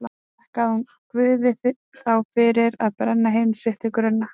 Þakkaði hún Guði þá fyrir að brenna heimili sitt til grunna?